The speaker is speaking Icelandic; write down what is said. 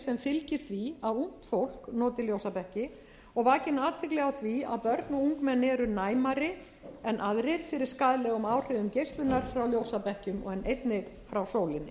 fylgir því á ungt fólk noti ljósabekki og vakin athygli á því að börn og ungmenni eru næmari en aðrir fyrir skaðlegum áhrifum geislunar frá ljósabekkjum en einnig frá sólinni